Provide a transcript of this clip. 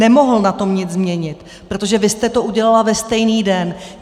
Nemohl na tom nic změnit, protože vy jste to udělala ve stejný den.